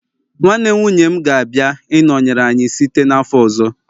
nwanne nwunye m gabia -inọnyere anyị site n'afọ ọzọ